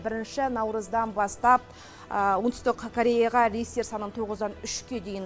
бірінші наурыздан бастап оңтүстік кореяға рейстер санын тоғыздан үшке дейін